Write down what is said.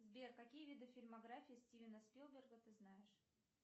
сбер какие виды фильмографии стивена спилберга ты знаешь